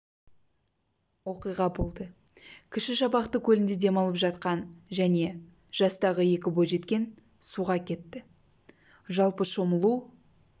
оқиға болды кіші шабақты көлінде демалып жатқан және жастағы екі бойжеткен суға кетті жалпы шомылу